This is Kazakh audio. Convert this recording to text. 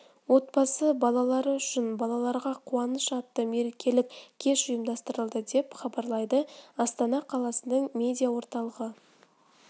отбасы балалары үшін балаларға қуаныш атты мерекелік кеш ұйымдастырылды деп хабарлайды астана қаласының медиа орталығы